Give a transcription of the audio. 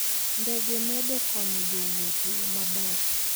Ndege medo konyo jowuoth e yo maber.